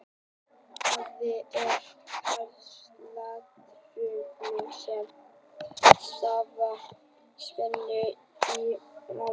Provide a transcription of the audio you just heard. Gáttaflökt er hjartsláttartruflun sem stafar af hringrás boðspennu í hjartagáttum.